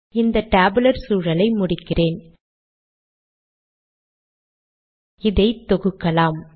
இந்த டேபுலர் சூழலை முடிக்கிறேன் இதை தொகுக்கலாம்